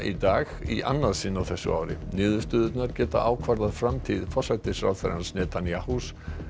í dag í annað sinn á þessu ári niðurstöðurnar geta ákvarðað framtíð forsætisráðherrans Netanyahus